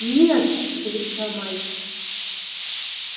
нет закричал мальчик